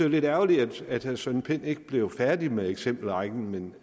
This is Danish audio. lidt ærgerligt at herre søren pind ikke blev færdig med eksempelrækken men